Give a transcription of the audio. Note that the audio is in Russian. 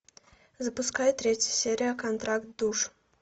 запускай третью серию контракт душ